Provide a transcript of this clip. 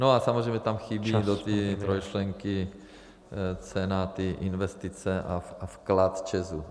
No a samozřejmě tam chybí do té trojčlenky cena investice a vklad ČEZ.